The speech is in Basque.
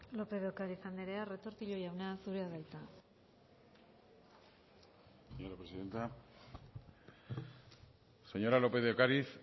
lópez de ocariz andrea retortillo jauna zurea da hitza señora presidenta señora lópez de ocariz